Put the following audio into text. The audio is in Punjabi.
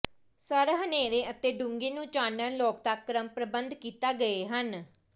ਸਰ ਹਨੇਰੇ ਅਤੇ ਡੂੰਘੇ ਨੂੰ ਚਾਨਣ ਲੋਕ ਤੱਕ ਕ੍ਰਮ ਪ੍ਰਬੰਧ ਕੀਤਾ ਗਏ ਹਨ